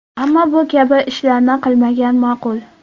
Ammo bu kabi ishlarni qilmagan ma’qul.